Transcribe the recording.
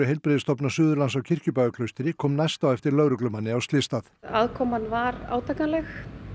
Heilbrigðisstofnunar Suðurlands á Kirkjubæjarklaustri kom næst á eftir lögreglumanni á slysstað aðkoman var átakanleg